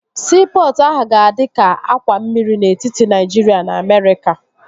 Siipọtụ ahụ ga-adi ka àkwà mmiri n'etiti Naịjiria na Amerịka